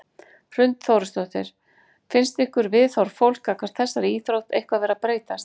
Hrund Þórsdóttir: Finnst ykkur viðhorf fólks gagnvart þessari íþrótt eitthvað vera að breytast?